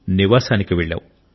నివాసానికి వెళ్ళాం